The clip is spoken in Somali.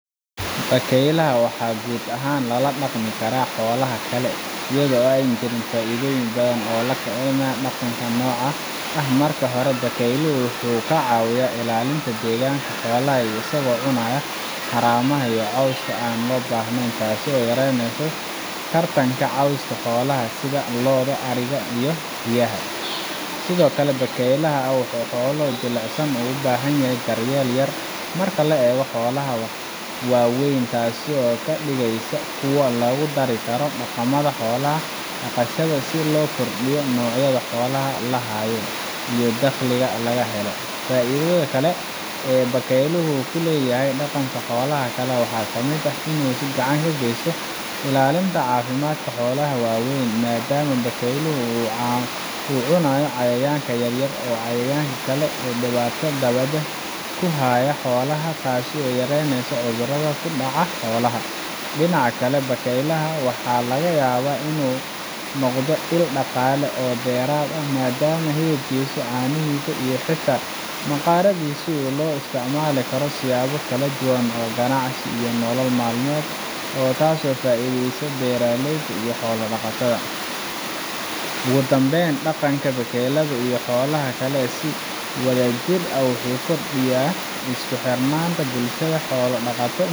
Haa, bakaylaha waa la la dhaqmi karaa xoolaha kale, laakiin waxaa muhiim ah in la tixgeliyo dabeecadahooda jilicsan iyo baahidooda gaar ah. Bakayluhu waa xayawaan aad u xasaasi ah oo si sahlan uga niyad-jaba ama uga xanaaqa haddii ay la noolaadaan xoolo buuq badan leh ama leh dabeecado dagaal badan sida doofaarka ama bisadaha qaar. Si kastaba ha ahaatee, haddii si habboon loo qorsheeyo oo loo habeeyo deegaanka ay wada nool yihiin, bakaylaha waxay si nabad ah ula noolaan karaan xoolo sida ariga, digaagga ama eyaha deggan. Faa’iidooyinka ka imanaya wada noolaanshahooda waxaa ka mid ah helitaanka deegaan firfircoon oo kobciya caafimaadka maskaxda iyo jirka, iyadoo bakayluhu helayaan dhaqdhaqaaq iyo dhiirigelin dheeraad ah.